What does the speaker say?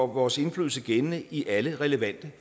vores indflydelse gældende i alle relevante